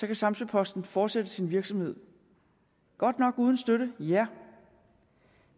kan samsø posten fortsætte sin virksomhed godt nok uden støtte ja